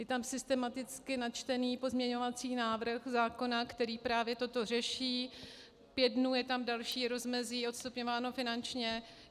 Je tam systematicky načtený pozměňovací návrh zákona, který právě toto řeší, pět dnů je tam další rozmezí, odstupňované finančně.